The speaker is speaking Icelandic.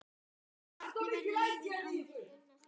Hvernig verður lífið án þín?